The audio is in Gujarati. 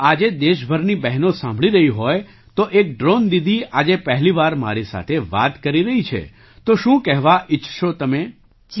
જો આજે દેશ ભરની બહેનો સાંભળી રહી હોય તો એક ડ્રૉન દીદી આજે પહેલી વાર મારી સાથે વાત કરી રહી છે તો શું કહેવા ઈચ્છશો તમે